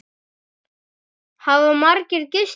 Hafa margir gist hérna?